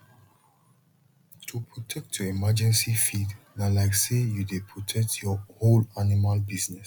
to protect your emergency feed na like say you dey protect your whole animal business